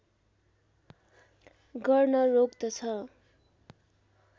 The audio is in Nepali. गर्न रोक्दछ